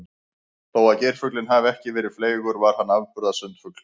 Þó að geirfuglinn hafi ekki verið fleygur var hann afburða sundfugl.